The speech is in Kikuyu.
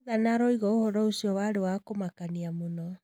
Nathan arauga ũhoro ũcio warĩ wa kũmakania mũno.